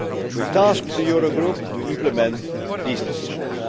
We tasked the Euro Group to implement these decisions.